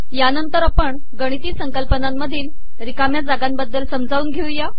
यानंतर आपण गिणती संकलपनामधील िरकामया जागाबदल समजावून घेऊ